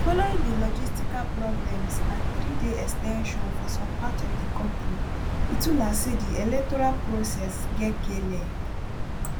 following di logistical problems and di threeday ex ten sion for some parts of di kontri itula say di electoral process get kleg